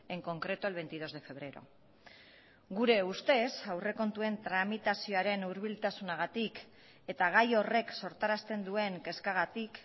en concreto el veintidós de febrero gure ustez aurrekontuen tramitazioaren hurbiltasunagatik eta gai horrek sortarazten duen kezkagatik